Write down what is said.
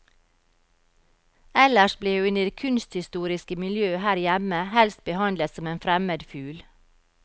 Ellers ble hun i det kunsthistoriske miljø her hjemme helst behandlet som en fremmed fugl.